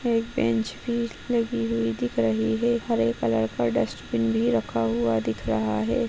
एक बेंच भी लगी हुई दिख रही है हरे कलर का डस्टबिन भी रखा हुआ दिख रहा है।